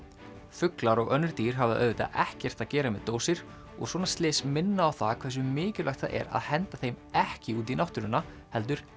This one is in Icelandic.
fuglar og önnur dýr hafa auðvitað ekkert að gera með dósir og svona slys minna á það hversu mikilvægt það er að henda þeim ekki út í náttúruna heldur